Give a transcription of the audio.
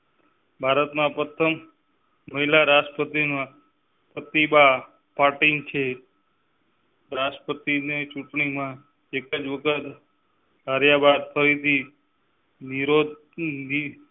ભારતના પ્રથમ મહિલા રાષ્ટ્રપતિ પ્રતિભા પાટીલ છે રાષ્ટ્રપતિ ને ચુંટણી માં. વગર કર્યા બાદ ફરી થી